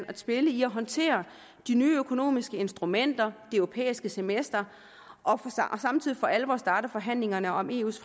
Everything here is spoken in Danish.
at spille i at håndtere de nye økonomiske instrumenter det europæiske semester og samtidig for alvor starte forhandlingerne om eus